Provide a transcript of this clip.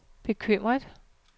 bekymret